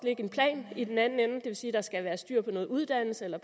en plan i den anden ende det vil sige at der skal være styr på noget uddannelse eller